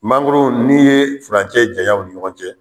Mangoro n'i ye furancɛ janya u ni ɲɔgɔn cɛ